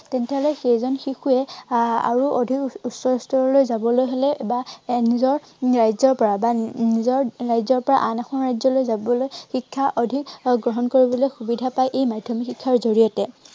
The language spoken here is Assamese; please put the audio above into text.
তেতিয়া হলে সেইজন শিশুৱে আহ আৰু অধিক উচ্চ স্তৰলৈ যাবলৈ হলে বা নিজৰ ৰাজ্য়ৰ পৰা বা উম নিজৰ ৰাজ্য়ৰ পৰা আন এখন ৰাজ্য়লৈ যাবলৈ শিক্ষা অধিক গ্ৰহণ কৰিবলৈ সুবিধা পায় এই মাধ্য়মিক শিক্ষাৰ জড়িয়তে।